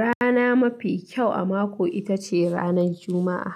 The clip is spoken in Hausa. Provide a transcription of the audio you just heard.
Rana mafi kyau a mako ita ce ranan Juma'a.